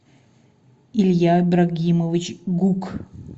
илья ибрагимович гук